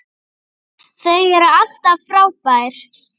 Þau eru alltaf frábær.